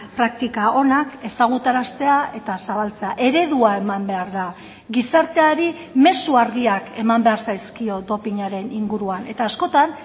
praktika onak ezagutaraztea eta zabaltzea eredua eman behar da gizarteari mezu argiak eman behar zaizkio dopinaren inguruan eta askotan